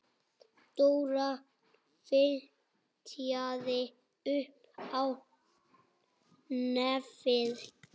Dóra fitjaði upp á nefið.